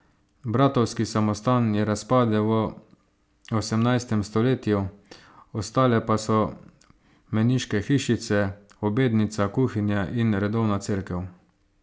Bratovski samostan je razpadel v osemnajstem stoletju, ostale pa so meniške hišice, obednica, kuhinja in redovna cerkev.